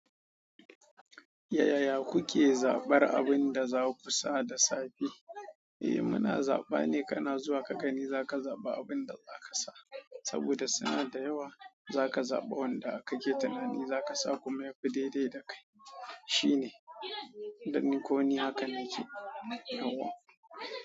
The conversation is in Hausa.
Yaya kuke zabar abin da za ku sa da safe? Eh muna zaba ne, kana zuwa ka gani za ka zaba abin da za ka sa. Saboda suna da yawa, za ka zaɓa wanda ka ke tunanin za ka sa kuma ya fi daidai da kai. Shi ne, dan ni ko ni haka na ke yauwa.